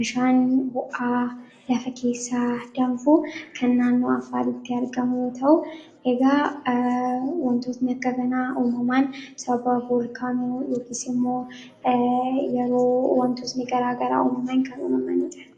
bishaan bo'aa lafa keessa danfuu kan naannu afaalitti argamuu ta'u egaa wantoosni akkaganaa uumamaan sababa bulkaanuu yookiisimmoo yeroo wantoosni garaa garaa uumaman kan uumamanita